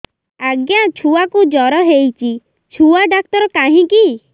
ଆଜ୍ଞା ଛୁଆକୁ ଜର ହେଇଚି ଛୁଆ ଡାକ୍ତର କାହିଁ କି